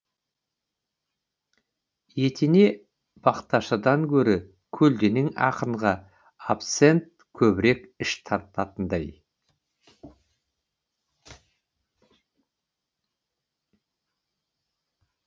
етене бақташыдан гөрі көлденең ақынға абсент көбірек іш тартатындай